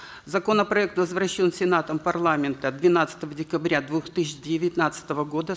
законопроект возвращен сенатом парламента двенадцатого декабря две тысячи девятнадцатого года